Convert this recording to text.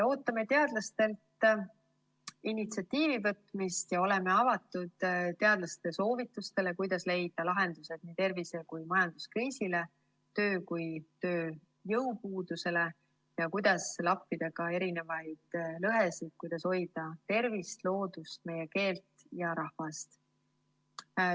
Ootame teadlastelt initsiatiivi võtmist ja oleme avatud teadlaste soovitustele, kuidas leida lahendused nii tervise‑ kui ka majanduskriisile, nii töö‑ kui ka tööjõupuudusele ning sellele, kuidas lappida ka erinevaid lõhesid, kuidas hoida tervist, loodust, meie keelt ja rahvast.